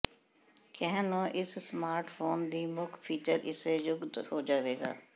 ਕਹਿਣ ਨੂੰ ਇਸ ਸਮਾਰਟਫੋਨ ਦੀ ਮੁੱਖ ਫੀਚਰ ਇਸੇ ਯੁੱਗ ਹੋ ਜਾਵੇਗਾ